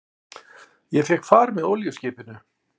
Ég fékk far með olíuskipinu